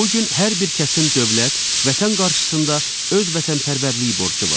Bu gün hər bir kəsin dövlət, vətən qarşısında öz vətənpərvərliyi borcu var.